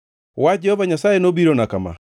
Wach Jehova Nyasaye nobirona kama: